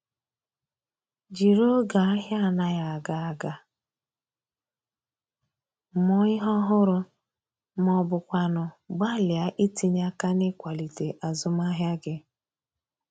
Jiri oge ahia anaghi aga aga mụọ ihe ọhụrụ ma ọ bụkwanụ gbalịa itinye aka n’ịkwalite azụmahịa gị